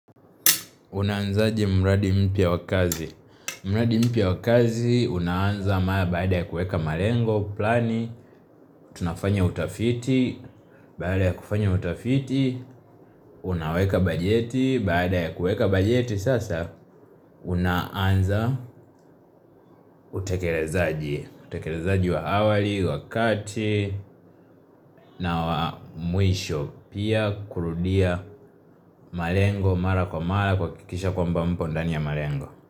Unaanzaje mradi mpya wa kazi? Mradi mpya wa kazi, unaanza mara baada ya kueka malengo, plani, tunafanya utafiti, baada ya kufanya utafiti, unaweka bajeti, baada ya kueka bajeti sasa, unaanza utekelezaji, utekelezaji wa awali, wakati, na wa mwisho, pia kurudia malengo, mara kwa mara, kuhakikisha kwamba mpo ndani ya malengo.